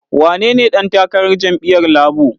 Wanene ɗan takarar jam'iyyar Labo?